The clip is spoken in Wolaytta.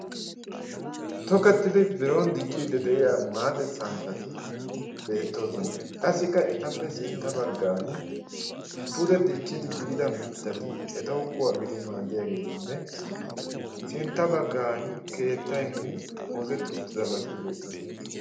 tokettidi biron dicciiddi de7iya maaxe santtati beettoosona. qassikka etappe sintta baggan pude diccidi biida mittati etaw kuwaa gidi maaddiyaageetinne sintta baggan keettaynne oosetti uttidabati beettoosona.